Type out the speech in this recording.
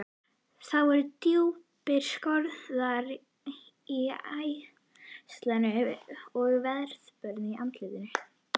Það voru djúpir skorningar í æðaslitnu og veðurbörðu andlitinu.